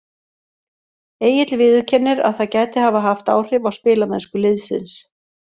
Egill viðurkennir að það gæti hafa haft áhrif á spilamennsku liðsins.